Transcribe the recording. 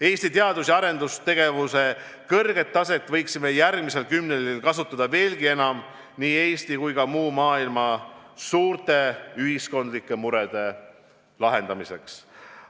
Eesti teadus- ja arendustegevuse kõrget taset võiksime järgmisel kümnendil kasutada veelgi enam nii Eesti kui ka muu maailma suurte ühiskondlike murede lahendamiseks.